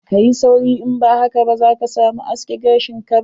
Kayi sauri, in ba haka ba za ka samu a aske gashin ka ba.